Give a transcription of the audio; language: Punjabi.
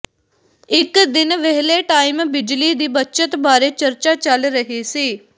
ਇਕ ਦਿਨ ਵਿਹਲੇ ਟਾਈਮ ਬਿਜਲੀ ਦੀ ਬੱਚਤ ਬਾਰੇ ਚਰਚਾ ਚੱਲ ਰਹੀ ਸੀ